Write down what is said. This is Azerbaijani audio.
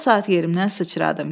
O saat yerimdən sıçradım.